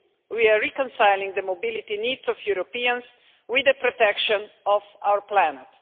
We are reconciling the mobility needs of Europeans with the protection of our planet.